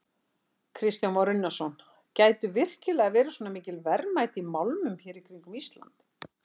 Kristján Már Unnarsson: Gætu virkilega verið svona mikil verðmæti í málmum hér í kringum Ísland?